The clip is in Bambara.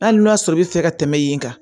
Hali n'a sɔrɔ i bɛ fɛ ka tɛmɛ yen kan